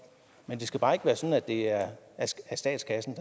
men det skal bare ikke være sådan at det er statskassen